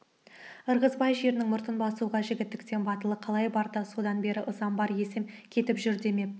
ырғызбай жерінің мұртын басуға жігітектің батылы қалай барды содан бері ызам бар есем кетіп жүр демеп